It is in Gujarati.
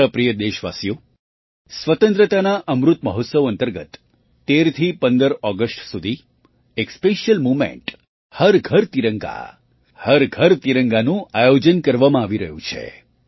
મારા પ્રિય દેશવાસીઓ સ્વતંત્રતાના અમૃત મહોત્સવ અંતર્ગત ૧૩થી ૧૫ ઑગસ્ટ સુધી એક સ્પેશિયલ મૂવમેન્ટ હર ઘર તિરંગા હર ઘર તિરંગાનું આયોજન કરવામાં આવી રહ્યું છે